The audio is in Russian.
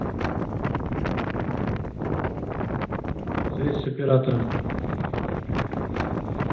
связь с оператором